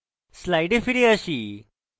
slides ফিরে আসি